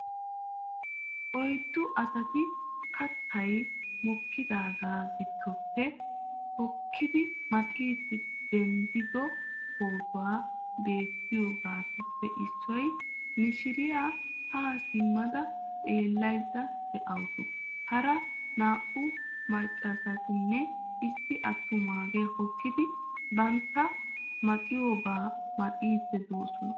Oyddu asati kattay mokkidaagaa giddoppe hokkidi maxiiddi denddido pootoy beettiyageetuppe issi mishiriya haa simada xeellaydda dawusu. Hara naa''u maccaasatinne issi attumaagee hokkidi bantta maxiyobaa maxiiddi de'oosona